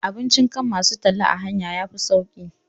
Abincin kan masu talla a hanya yafi sauƙi